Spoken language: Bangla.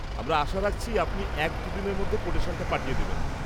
আমরা আশা রাখছি আপনি এক দু দিনের মধ্যে কোটেশনটা পাঠিয়ে দেবেন।